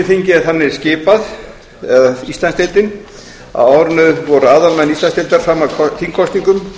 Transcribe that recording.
er þannig skipað eða íslandsdeildin að á árinu voru aðalmenn íslandsdeildar fram að þingkosningum